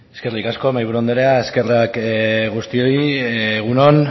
eskerrik asko mahaiburu andrea eskerrak guztioi egun on